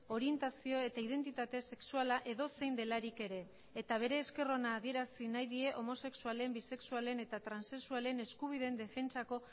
orientazio eta identitate sexuala edozein delarik ere eta bere esker ona adierazi nahi die homosexualen bisexualen eta transexualen eskubideen defentsako